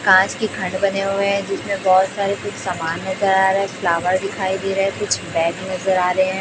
कांच के खंड बने हुए है जिसमें बहोत सारे कुछ समान नज़र आ रहे है एक फ्लावर दिखाई दे रहा है कुछ बैग नज़र आ रहे है।